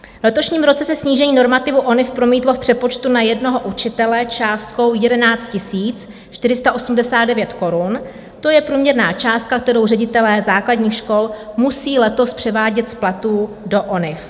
V letošním roce se snížení normativu ONIV promítlo v přepočtu na jednoho učitele částkou 11 489 korun, to je průměrná částka, kterou ředitelé základních škol musí letos převádět z platů do ONIV.